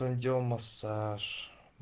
массаж